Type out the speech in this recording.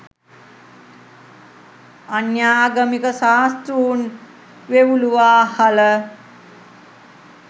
අන්‍යාගමික ශාස්තෘන් වෙව්ලුවා හළ